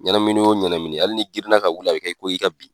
Ɲɛnamini o ɲɛnamini hali ni girinina ka wuli, a bi kɛ, i ko, i ka bin.